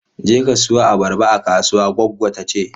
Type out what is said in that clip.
Jeka siyo abarba a kasuwa, goggo ta ce.